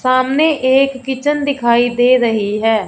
सामने एक किचन दिखाई दे रही है।